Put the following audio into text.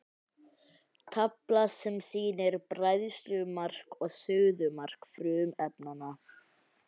Tafla sem sýnir bræðslumark og suðumark frumefnanna.